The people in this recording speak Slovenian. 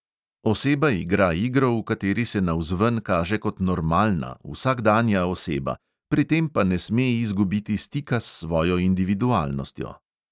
Oseba igra igro, v kateri se navzven kaže kot "normalna", vsakdanja oseba, pri tem pa ne sme izgubiti stika s svojo individualnostjo.